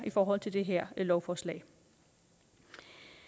forhold til det her lovforslag vi